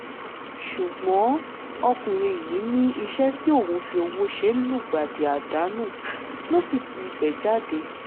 ṣùgbọ́n ọkùnrin yìí ní iṣẹ́ tí òun fi ọwọ́ ṣe lùgbàdì àdánù ló sì ti ibẹ̀ jáde